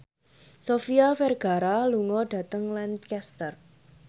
Sofia Vergara lunga dhateng Lancaster